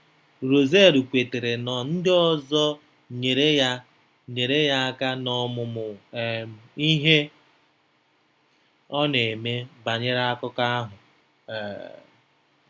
Russellu kwetara na ndị ọzọ nyere ya nyere ya aka n’ọmụmụ um ihe ọ na-eme banyere akụkọ ahụ. um